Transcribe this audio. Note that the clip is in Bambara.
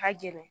Ka gɛlɛn